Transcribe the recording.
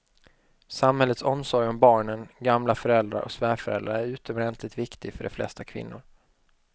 Samhällets omsorg om barnen, gamla föräldrar och svärföräldrar är utomordentligt viktig för de flesta kvinnor.